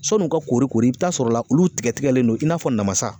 Sɔn'u ka kori kori i bi taa sɔrɔ la olu tigɛ tigɛlen don i n'a fɔ namasa.